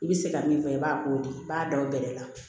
I bɛ se ka min fɔ i b'a k'o de i b'a da o bɛlɛ la